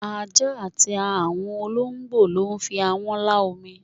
Ajá àti àwọn olóǹgbò ló fi ahán lá omi